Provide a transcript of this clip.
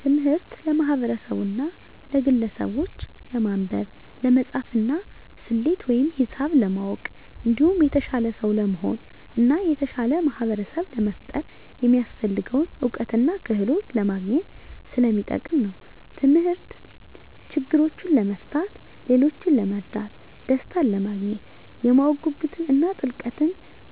ትምህርት ለማህበርሰቡና ለግለሰቡች ለማንበብ፣ ለመፃፍና፣ ሰሌት ወይም ሂሳብ ለማወቅ እንዲሁም የተሻለ ሰው ለመሆን እና የተሻለ ማህበርሰብ ለመፍጠር የሚያሰፍልገውን እውቀትና ክህሎት ለማግኝት ሰለሚጠቅም ነው። ተምህርት ችግሮችን ለመፍታት፣ ሌሎችን ለመርዳት፣ ደሰታንለማግኘት፣ የማወቅ ጉጉትን እና ጥልቅ